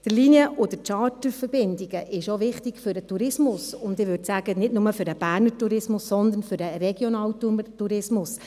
Die Linien- und Charterverbindungen sind auch wichtig für den Tourismus, und, ich würde sagen, nicht nur für den Berner Tourismus, sondern für den regionalen Tourismus.